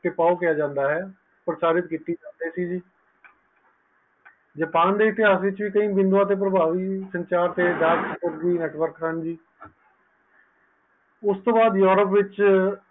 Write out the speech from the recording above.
ਪ੍ਰਚਾਰਿਤ ਕੀਤਾ ਜਾਂਦਾ ਹੈ ਜਪਾਨ ਦੇ ਇਤਿਹਾਸ ਵਿਚ ਸੰਚਾਰ ਤੇ ਨੈੱਟਵਰਕ ਹਨ ਉਸ ਤੋਂ ਬਾਅਦ ਯੂਰੋਪ ਵਿਚ